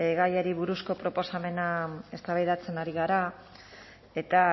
gaiari buruzko proposamena eztabaidatzen ari gara eta